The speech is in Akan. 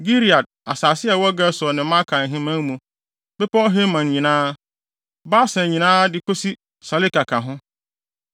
Gilead, asase a ɛwɔ Gesur ne Maaka ahemman mu, Bepɔw Hermon nyinaa, Basan nyinaa de kosi Saleka ka ho,